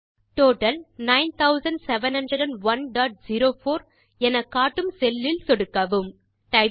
total 970104 எனக்காட்டும் cell இல் சொடுக்கவும்